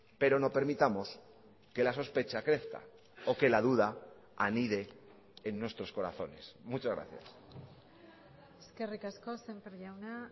pero no permitamos que la sospecha crezca o que la duda anide en nuestros corazones muchas gracias eskerrik asko sémper jauna